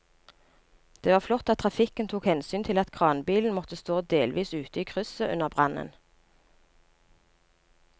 Det var flott at trafikken tok hensyn til at kranbilen måtte stå delvis ute i krysset under brannen.